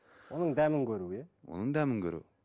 оның дәмін көру иә оның дәмін көру